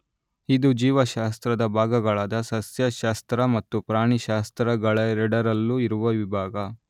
ಇದು ಜೀವಶಾಸ್ತ್ರದ ಭಾಗಗಳಾದ ಸಸ್ಯಶಾಸ್ತ್ರ ಮತ್ತು ಪ್ರಾಣಿಶಾಸ್ತ್ರಗಳೆಡರಲ್ಲೂ ಇರುವ ವಿಭಾಗ.